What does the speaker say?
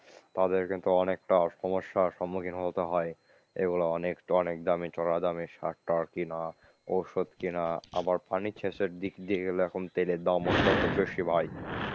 তাদের কিন্তু অনেকটা সমস্যার সম্মুখীন হতে হয়। এগুলো অনেকটা অনেক দামি সার টার কেনা ঔষধ কিনা আবার পানি সেচের দিক দিয়ে গেলে এখন তেলের দামও খুব বেশি ভাই।